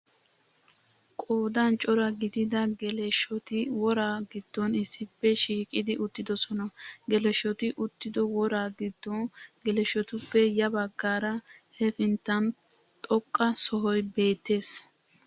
Qoodan cora gidida geleshshoti woraa giddon issippe shiiqidi uttidosona. Geleshshoti uttido woraa giddon geleshotuppe ya baggaara hefinttan xoqqa sohoy beettees.